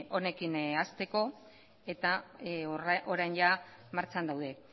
honekin hasteko eta orain jada martxan daude